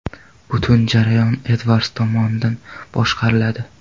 Butun jarayon Edvards tomonidan boshqariladi.